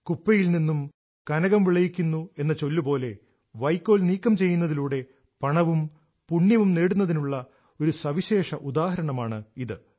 കുപ്പയിൽ നിന്നും കനകം വിളയിക്കുന്നു എന്ന ചൊല്ല് പോലെ വൈക്കോൽ നീക്കംചെയ്യുന്നതിലൂടെ പണവും പുണ്യവും നേടുന്നതിനുള്ള ഒരു സവിശേഷ ഉദാഹരണമാണ് ഇത്